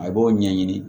A b'o ɲɛɲini